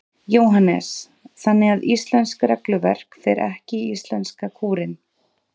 Jóhannes: Þannig að íslenskt regluverk fer ekki í íslenska kúrinn?